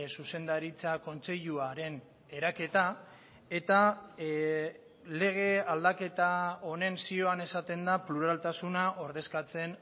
zuzendaritza kontseiluaren eraketa eta lege aldaketa honen zioan esaten da pluraltasuna ordezkatzen